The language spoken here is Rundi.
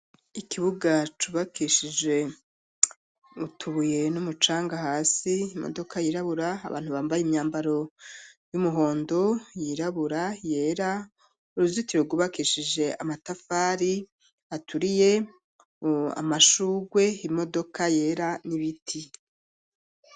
Ikibuga cubakishije utubuye n'umucanga hasi imodoka yirabura abantu bambaye imyambaro y'umuhondo yirabura yera uruzitiro rwubakishije amatafari aturiye amashurwe imodoka yera n'ibiti.